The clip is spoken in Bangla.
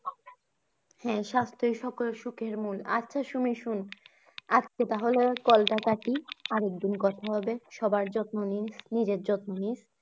হ্যা সাস্থ্যই সকল সুখের মূল। আচ্ছা সুমি শোন আজকে তাহলে call টা কাটি আরেকদিন কথা হবে। সবার যত্ন নিস নিজের যত্ন নিস